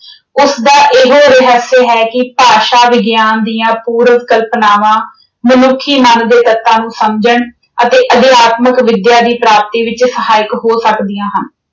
ਉਸਦਾ ਇਹ ਰਹੱਸਯ ਹੈ ਕਿ ਭਾਸ਼ਾ ਵਿਗਿਆਨ ਦੀਆਂ ਪੂਰਵ ਕਲਪਨਾਵਾਂ ਮਨੁੱਖੀ ਮਨ ਦੇ ਤੱਤਾਂ ਨੂੰ ਸਮਝਣ ਅਤੇ ਅਧਿਆਤਮਕ ਵਿੱਦਿਆ ਦੀ ਪ੍ਰਾਪਤੀ ਵਿੱਚ ਸਹਾਇਕ ਹੋ ਸਕਦੀਆਂ ਹਨ।